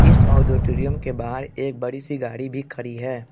इस ऑडिटोरियम के बाहर एक बड़ी सी गाड़ी भी खड़ी है।